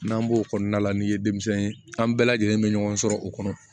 N'an b'o kɔnɔna la n'i ye denmisɛnnin ye an bɛɛ lajɛlen bɛ ɲɔgɔn sɔrɔ o kɔnɔ